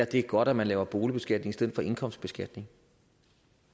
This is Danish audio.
det er godt at man laver boligbeskatning i stedet for indkomstbeskatning